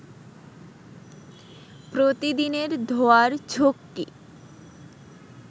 প্রতিদিনের ধোয়ার ঝক্কি